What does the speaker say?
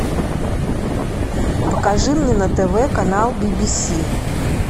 покажи мне на тв канал би би си